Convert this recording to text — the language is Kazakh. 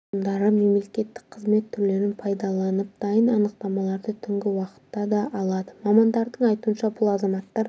тұрғындары мемлекеттік қызмет түрлерін пайдаланып дайын анықтамаларды түнгі уақытта да алады мамандардың айтуынша бұл азаматтар